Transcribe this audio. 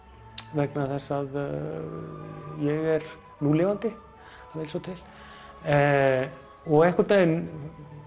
vegna þess að ég er núlifandi það vill svo til og einhvern veginn